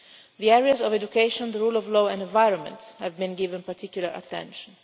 The areas of education, the rule of law and the environment have been given particular attention.